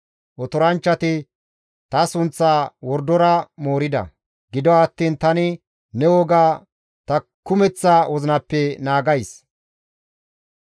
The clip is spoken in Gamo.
Otoranchchati ta sunththaa wordora moorida; gido attiin tani ne woga ta kumeththa wozinappe naagays.